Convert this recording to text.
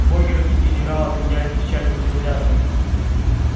богерт и генерал обменялись печальным взглядом